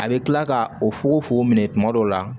A bɛ kila ka o fugofugo minɛ tuma dɔw la